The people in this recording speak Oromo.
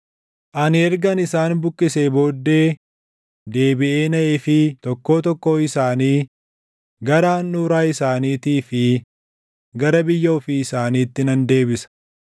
Ani ergan isaan buqqisee booddee deebiʼee naʼeefii tokkoo tokkoo isaanii gara handhuuraa isaaniitii fi gara biyya ofii isaaniitti nan deebisa.